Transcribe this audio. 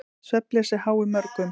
Svefnleysi háir mörgum.